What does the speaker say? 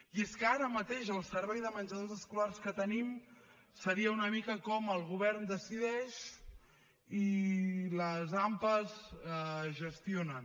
i és que ara mateix el servei de menjadors escolars que tenim seria una mica com el govern decideix i les ampa gestionen